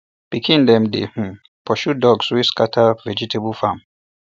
pikin dem dey um pursue ducks wey dey scatter vegetable farm